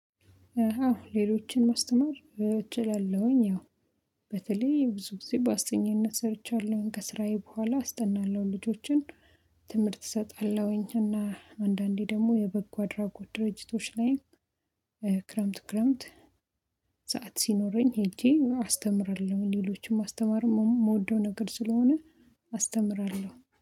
አሃ ሌሎችን ማስተማር እችላለሁኝ ያው በተለይ ብዙ ግዜ በአስጠኚነት ሰርቻለሁኝ ከስራዬ በኋላ አስጠናለሁ ልጆችን ትምህርት እሰጣለሁኝ እና አንዳንዴ ደግሞ የበጎ አድራጎት ድርጅቶች ላይ ክረምት ክረምት ሰዓት ሲኖረኝ ሄጄ አስተምራለሁኝ ሌሎቹም ማስተማር የምወደው ነገር ስለሆነ አስተምራለው።